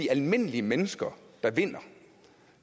almindelige mennesker der vinder